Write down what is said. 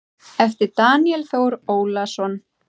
eftir Daníel Þór Ólason